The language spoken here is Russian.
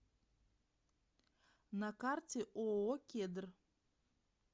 на карте ооо кедр